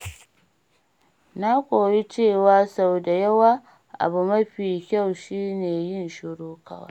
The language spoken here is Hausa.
Na koyi cewa sau da yawa, abu mafi kyau shi ne yin shiru kawai.